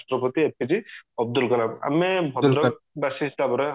ରାଷ୍ଟ୍ରପତି APJ ଅବଦୁଲକଲାମ ଆମେ ଭଦ୍ରକ ବାସି ହିସାବରେ